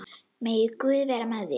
Megi Guð vera með þér.